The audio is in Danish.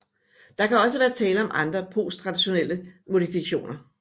Der kan også være tale om andre posttranslationelle modifikationer